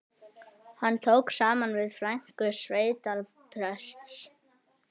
Hann tók saman við frænku sveitaprests